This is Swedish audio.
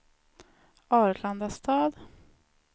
Arlandastad